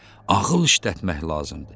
Ağıl işlətmək lazımdır.